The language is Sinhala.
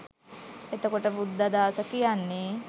එතකොට බුද්ධාදාස කියන්නෙ